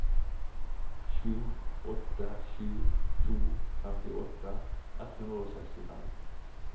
sju åtte sju to femtiåtte ett hundre og sekstifem